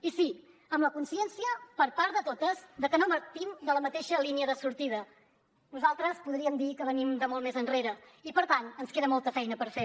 i sí amb la consciència per part de totes que no partim de la mateixa línia de sortida nosaltres podríem dir que venim de molt més enrere i per tant ens queda molta feina per fer